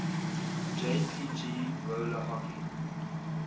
jpg roller hockey